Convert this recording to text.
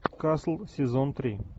касл сезон три